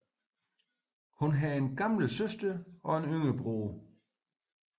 Hun har en ældre søster og en yngre broder